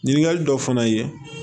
Ɲininkali dɔ fana ye